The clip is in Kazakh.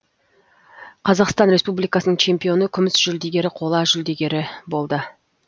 қазақстан республикасының чемпионы күміс жүлдегері қола жүлдегері болды